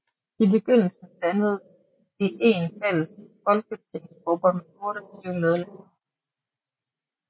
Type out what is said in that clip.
I begyndelsen dannede de en fælles folketingsgruppe med 28 medlemmer